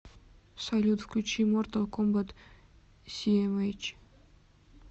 салют включи мортал комбат сиэмэйч